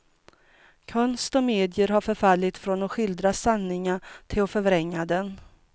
Konst och medier har förfallit från att skildra sanningen till att förvränga den.